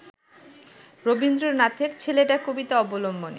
রবীন্দ্রনাথের ‘ছেলেটা’ কবিতা অবলম্বনে